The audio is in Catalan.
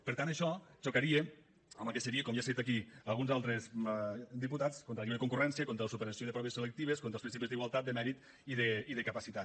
per tant això xocaria amb el que seria com ja s’ha dit aquí alguns altres diputats contra la lliure concurrència contra la superació de proves selectives contra els principis d’igualtat de mèrit i de capacitat